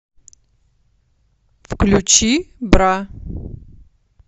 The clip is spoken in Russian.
включи бра